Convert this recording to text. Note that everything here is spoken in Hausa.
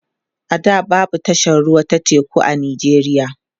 a da babu tashar ruwa ta teku a nijeriya